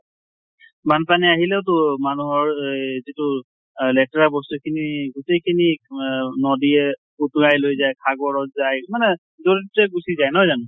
বানপানী আহিলেও তো মানুহৰ এ যিটো লেতেৰা বস্তু খিনি গোটেই খিনি আ নদীয়ে উটোৱাই লৈ যায় সাগৰত যায় । গুছি যায়, নহয় জানো ?